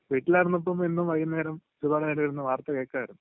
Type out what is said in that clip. വീട്ടിലായിരുന്നപ്പോ എന്നും വൈകുന്നേരം സുഖമായിട്ടിരുന്നു വാർത്ത കേൾക്കുമായിരുന്നു.